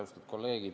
Kolleegid!